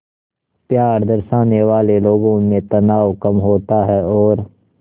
प्यार दर्शाने वाले लोगों में तनाव कम होता है और